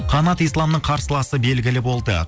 қанат исламның қарсыласы белгілі болды